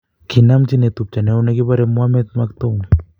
Kinamchi netupcho neo negepore Mohammed , Maktoum.